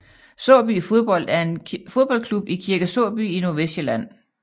Såby Fodbold er en fodboldklub i Kirke Såby i Nordvestsjælland